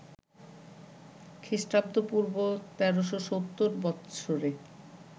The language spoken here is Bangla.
খ্রীঃ পূঃ ১৩৭০ বৎসরে